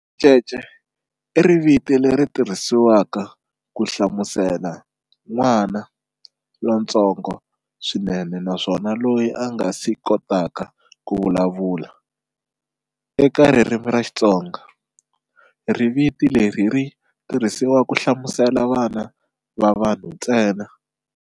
Ricece i riviti leri tirhisiwaka ku hlamusela"n'wana" lontsongo swinene naswona loyi a nga si kotaka ku vulavula. E ka ririmi ra xitsonga, riviti leri ri tirhisiwa ku hlamusela vana va vanhu ntsena.